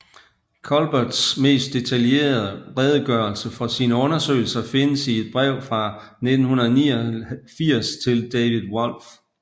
Culberts mest detaljerede redegørelse for sine undersøgelser findes i et brev fra 1989 til David Wolf